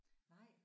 Nej